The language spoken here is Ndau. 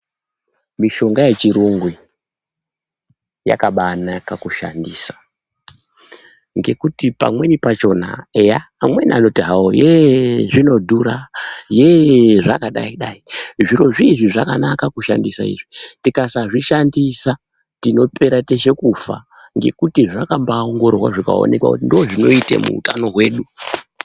Mishonga yechirungu, yakabanaka kushandisa, ngekuti pamweni pachona, eya amweni anoti hawo heeee, zvinodhura, heeeee zvakadayi-dayi, zviro zvizvi zvakanaka kushandisa izvi, tikasazvi shandisa tinopera teshe kufa, ngekuti zvakambaa bongororwa zvikaonekwa ,kuti ndizvo zvinoyita muutano hwedu.